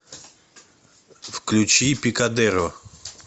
включи пикадеро